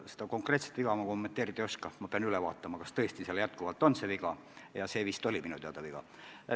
Seda konkreetset viga ma kommenteerida ei oska, ma pean üle vaatama, kas seal tõesti see viga jätkuvalt on – ja see minu teada on viga.